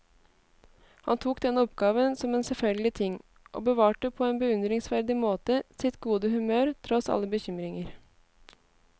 Han tok denne oppgaven som en selvfølgelig ting, og bevarte på en beundringsverdig måte sitt gode humør tross alle bekymringer.